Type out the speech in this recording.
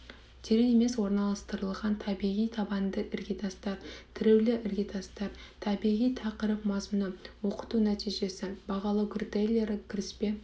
терең емес орналастырылған табиғи табанды іргетастар тіреулі іргетастар барлығы тақырып мазмұны оқыту нәтижесі бағалау критерийлері кіріспе